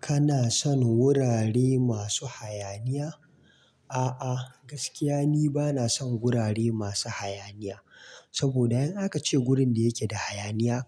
Kana son wurare masu hayaniya? A'a, gaskiya ni bana son gurare masu hayaniya. Saboda in aka ce wurin da yake da hayaniya,